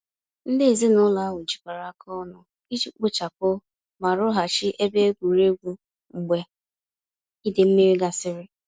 Ndị ezinụlọ ahụ jikọrọ aka ọnụ iji kpochapụ ma rụghachi ebe egwuregwu mgbe idei mmiri gasịrị.